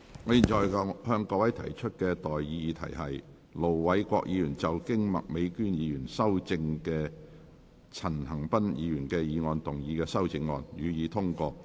我現在向各位提出的待議議題是：盧偉國議員就經麥美娟議員修正的陳恒鑌議員議案動議的修正案，予以通過。